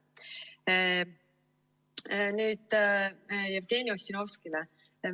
Nüüd, Jevgeni Ossinovskile.